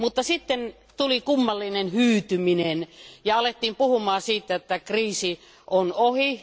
Sitten tuli kummallinen hyytyminen ja alettiin puhumaan siitä, että kriisi on ohi.